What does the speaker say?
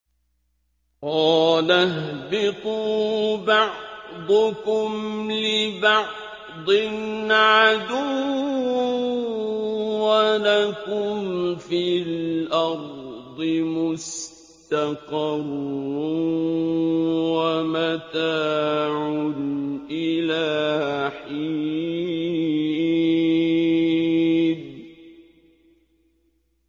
قَالَ اهْبِطُوا بَعْضُكُمْ لِبَعْضٍ عَدُوٌّ ۖ وَلَكُمْ فِي الْأَرْضِ مُسْتَقَرٌّ وَمَتَاعٌ إِلَىٰ حِينٍ